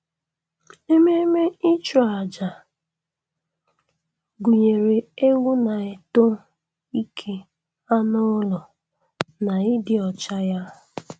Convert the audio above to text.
Ememe ịchụ-aja gụnyere egwu na-eto ike anụ ụlọ na ịdị ọcha ya